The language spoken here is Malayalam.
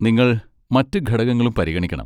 നിങ്ങൾ മറ്റ് ഘടകങ്ങളും പരിഗണിക്കണം